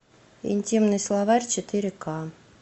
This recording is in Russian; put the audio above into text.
интимный словарь четыре ка